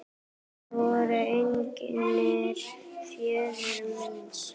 Þetta voru eignir föður míns.